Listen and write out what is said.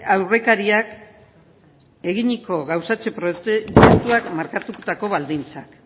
aurrekariak eginiko gauzatze proiektuak markatutako baldintzak